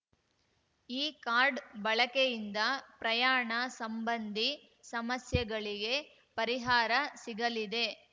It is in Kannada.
ಈ ಕಾರ್ಡ್‌ ಬಳಕೆಯಿಂದ ಪ್ರಯಾಣ ಸಂಬಂಧಿ ಸಮಸ್ಯೆಗಳಿಗೆ ಪರಿಹಾರ ಸಿಗಲಿದೆ